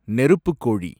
நெருப்புக் கோழி